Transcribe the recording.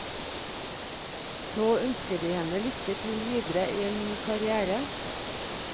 Nå ønsker de henne lykke til videre i en ny karrière.